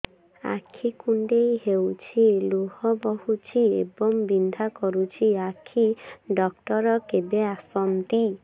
ଆଖି କୁଣ୍ଡେଇ ହେଉଛି ଲୁହ ବହୁଛି ଏବଂ ବିନ୍ଧା କରୁଛି ଆଖି ଡକ୍ଟର କେବେ ଆସନ୍ତି